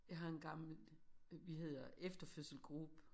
Jeg har en gammel vi hedder efterfødselsgruppe